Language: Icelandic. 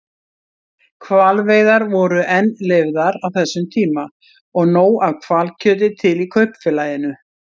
Hvalveiðar voru enn leyfðar á þessum tíma og nóg af hvalkjöti til í Kaupfélaginu.